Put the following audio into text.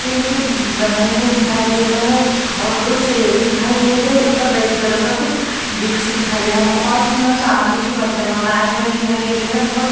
ये अभी कुछ ब बने हुए दिखाई दे रहे हैं और दो चेहरे दिखाई दे रहे हैं और रेड कलर का कुछ दृश्य दिखाई दे रहा है। बहोत सुंदर चांदी के बर्तन बनाए हुए दिखाई दे रहे हैं। बोहोत --